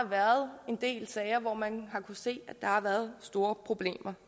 været en del sager hvor man har kunnet se der har været store problemer